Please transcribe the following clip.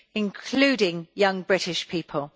including young British people.